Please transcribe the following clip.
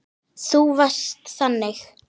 Þú varst þannig.